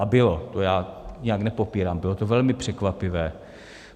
A bylo, to já nijak nepopírám, bylo to velmi překvapivé.